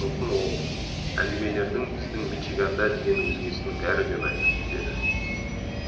сосын ол әңгімелердің біздің мичиганда дегеннен өзгесінің бәрі де ұнайды деді